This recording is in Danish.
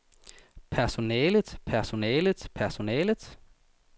personellet personellet personellet